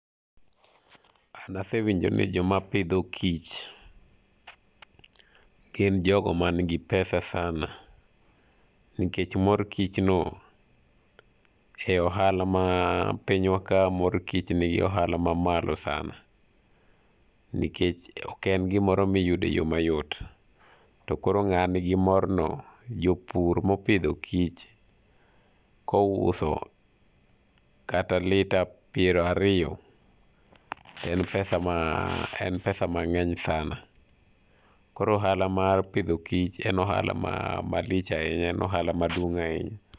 An asewinjo ni joma pidho kich gin jogo man gi pesa sana nikech mor kich no e ohala ma pinywa ka, mor kich nigi ohala mamalo sana nikech oken gimoro miyudoe yoo mayot to koro ng'a nigi morno, jopur mopidho kich kouso kata lita piero ariyo en pesa ma, en pesa mangeny sana. Koro ohala mar pidho kich en ohala malich ahinya, en ohala maduong ahinya